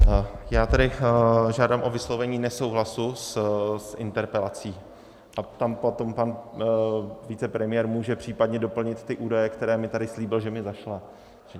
Já tedy žádám o vyslovení nesouhlasu s interpelací a tam potom pan vicepremiér může případně doplnit ty údaje, které mi tady slíbil, že mi zašle.